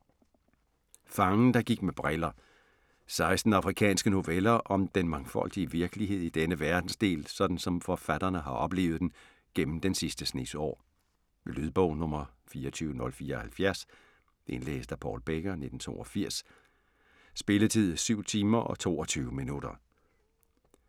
Fangen der gik med briller 16 afrikanske noveller om den mangfoldige virkelighed i denne verdensdel, sådan som forfatterne har oplevet den gennem den sidste snes år. Lydbog 24074 Indlæst af Paul Becker, 1982. Spilletid: 7 timer, 22 minutter.